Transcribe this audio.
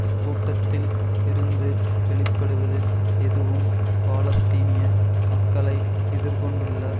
இக்கூட்டத்தில் இருந்து வெளி படுவது எதுவும் பாலஸ்தீனிய மக்களை எதிர் கொண்டுள்ள